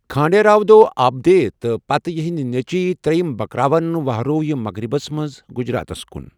کھانڈیراو دابھدے تہٕ پتہٕ یِہٕنٛدۍ نیٚچِوۍ تریم بکراون ؤہروو یہِ مغربس منٛز گُجراتس کُن۔